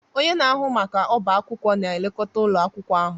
Onye na-ahụ maka ọbá akwụkwọ na-elekọta ụlọ akwụkwọ ahụ